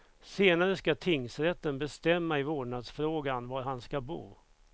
Senare ska tingsrätten bestämma i vårdnadsfrågan, var han ska bo.